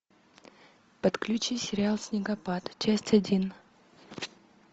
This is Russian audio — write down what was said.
подключи сериал снегопад часть один